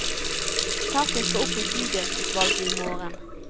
Saken skal opp i bydelsutvalget i morgen.